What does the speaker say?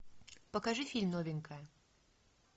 покажи фильм новенькая